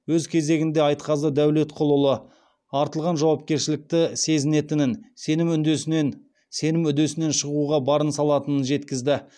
өз кезегінде айтқазы дәулетқұлұлы артылған жауапкершілікті сезінетінін сенім үдесінен шығуға барын салатынын жеткізді